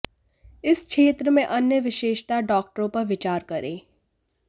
इस क्षेत्र में अन्य विशेषता डॉक्टरों पर विचार करें